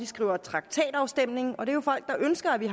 skrevet traktatafstemning og det er jo folk der ønsker at vi